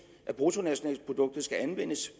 af bruttonationalproduktet skal anvendes